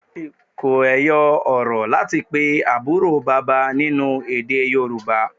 Kò ẹyọ-ọ̀rọ̀ láti pe àbúrò bàbá nínú èdè Yorùbá.